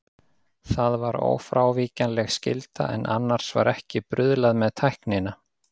Það var ófrávíkjanleg skylda, en annars var ekki bruðlað með tæknina.